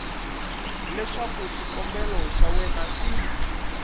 leswaku xikombelo xa wena xi